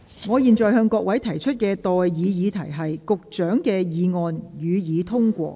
我現在向各位提出的待議議題是：保安局局長動議的議案，予以通過。